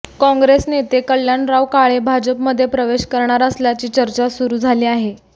काँग्रेस नेते कल्याणराव काळे भाजपमध्ये प्रवेश करणार असल्याची चर्चा सुरू झाली आहे